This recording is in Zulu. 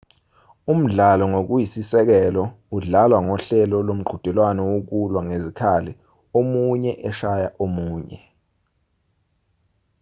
umdlalo ngokuyisisekelo udlalwa ngohlelo lomqhudelwano wokulwa ngezikhali omunye eshaya omunye